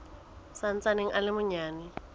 sa ntsaneng a le manyane